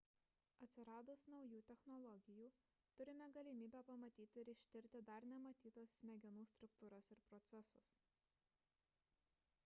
atsiradus naujų technologijų turime galimybę pamatyti ir ištirti dar nematytas smegenų struktūras ir procesus